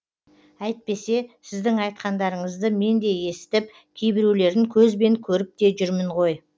әйтпесе сіздің айтқандарыңызды мен де есітіп кейбіреулерін көзбен көріп те жүрмін ғой